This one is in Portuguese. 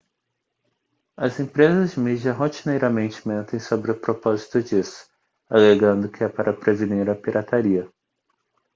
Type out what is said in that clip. as empresas de mídia rotineiramente mentem sobre o propósito disso alegando que é para prevenir a pirataria